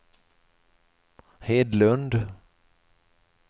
Hedlund